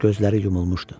Gözləri yumulmuşdu.